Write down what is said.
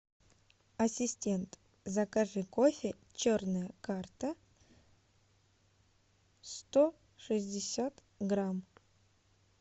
ассистент закажи кофе черная карта сто шестьдесят грамм